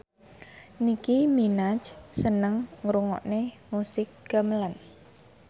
Nicky Minaj seneng ngrungokne musik gamelan